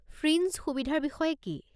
Fringe সুবিধাৰ বিষয়ে কি?